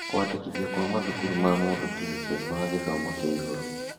Kũandĩkithio kwa mathukuru ma mũndũ kĩũmbe ma gĩthomo kĩa igũrũ